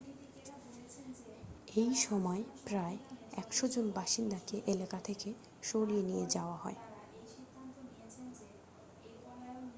এই সময় প্রায় 100 জন বাসিন্দাকে এলাকা থেকে সরিয়ে নিয়ে যাওয়া হয়